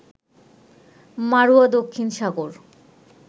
মাড়ুয়া দক্ষিণ সাগর